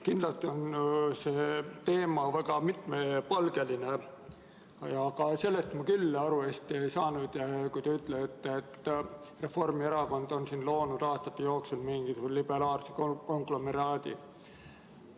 Kindlasti on see teema väga mitmepalgeline, aga sellest ma küll hästi aru ei saanud, kui te ütlesite, et Reformierakond on loonud aastate jooksul mingi liberaalse konglomeraadi.